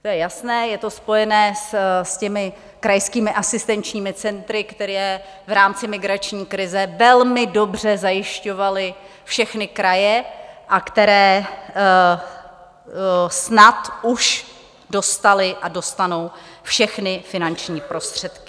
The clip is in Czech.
To je jasné, je to spojeno s těmi krajskými asistenční centry, která v rámci migrační krize velmi dobře zajišťovaly všechny kraje a která snad už dostala a dostanou všechny finanční prostředky.